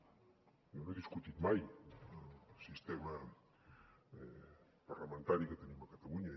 jo no he discutit mai el sistema parlamentari que tenim a catalunya